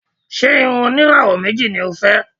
Ṣé irun oníràwọ̀ méjì ni o fẹ́?